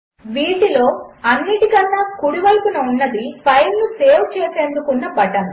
వీటిలోఅన్నింటికన్నాకుడివైపునఉన్నది ఫైల్నుసేవ్చేసేందుకుఉన్నబటన్